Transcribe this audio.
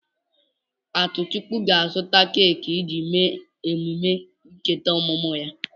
Atuchukwu ga-azụta keki iji mee emume ncheta ọmụmụ ya.